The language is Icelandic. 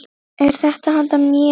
Er þetta handa mér?!